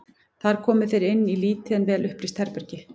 Þar komu þeir inn í lítið en vel upplýst herbergi.